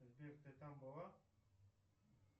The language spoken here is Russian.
сбер ты там была